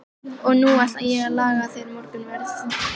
Og nú ætla ég að laga þér morgunverð.